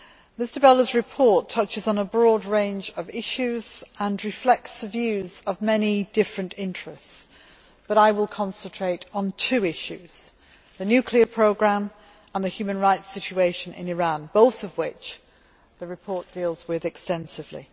Mr Belder's report touches on a broad range of issues and reflects the views of many different interests, but I will concentrate on two issues, the nuclear programme and the human rights situation in Iran, both of which the report deals with extensively.